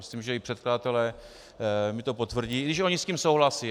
Myslím, že i předkladatelé mi to potvrdí, i když oni s tím souhlasí.